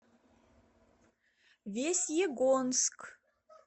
весьегонск